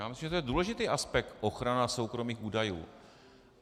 Já myslím, že to je důležitý aspekt - ochrana soukromých údajů.